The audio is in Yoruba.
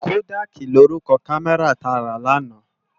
Kódàki ni órúkò kàmèrá tá rá làná